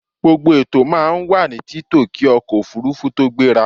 Gbogbo ètò máa wà ní títò kí ọkọ̀ òfurufú tó gbéra.a